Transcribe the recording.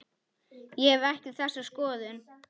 Ég hef ekki þessa skoðun.